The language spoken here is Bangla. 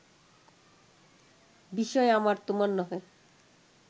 বিষয় আমার, তোমার নহে